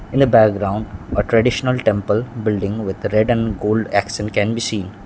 in a background a traditional temple building with red and gold can be seen.